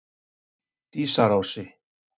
Dísarási